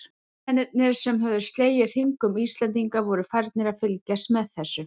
Hermennirnir sem höfðu slegið hring um Íslendingana voru farnir að fylgjast með þessu.